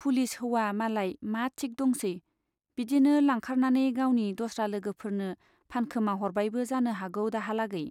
Police हौवा मालाय मा थिक दंसै , बिदिनो लांखारनानै गावनि दस्रा लोगोफोरनो फानखोमा हरबायबो जानो हागौ दाहालागै।